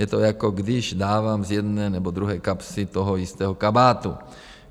Je to, jako když dávám z jedné nebo druhé kapsy toho jistého kabátu.